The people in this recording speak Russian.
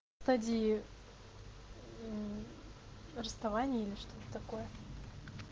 стадии расставания или что-то такое